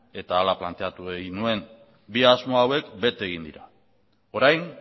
eta hala planteatu egin nuen bi asmo hauek bete egin dira orain